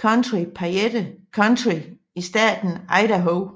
county Payette County i staten Idaho